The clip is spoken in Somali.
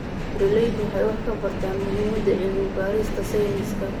Beeraleydu waxay wax ka bartaan muhiimadda cilmi-baarista sayniska.